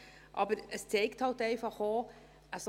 Aber es zeigt eben einfach auch: